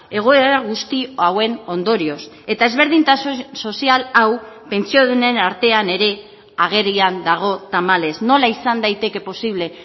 egoera guzti hauen ondorioz eta ezberdintasun sozial hau pentsiodunen artean ere agerian dago tamalez nola izan daiteke posible